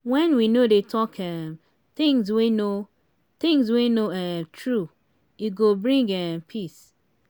wen we no dey talk um things wey no things wey no um true e go bring um peace.